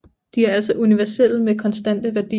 De er altså universelle med konstante værdier